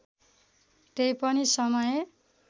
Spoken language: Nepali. तै पनि समय